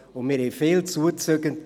Und wir haben viele Zuzüger;